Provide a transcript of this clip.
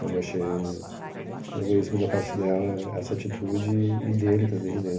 Mas eu achei egoísmo da parte dela, essa atitude, e e dele também, né?